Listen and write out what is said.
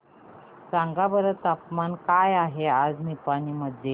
सांगा बरं तापमान काय आहे आज निपाणी मध्ये